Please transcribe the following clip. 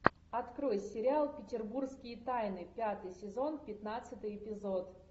открой сериал петербургские тайны пятый сезон пятнадцатый эпизод